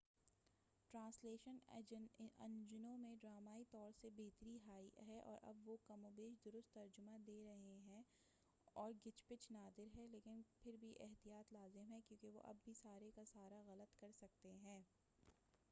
Translation انجنوں میں ڈرامائی طور سے بہتری آئی ہے اور اب وہ کم و بیش درست ترجمہ دے رہے ہیں اور گچ پچ نادر ہے، لیکن پھر بھی احتیاط لازم ہے کیوں کہ وہ اب بھی سارے کا سارا غلط کر سکتے ہیں۔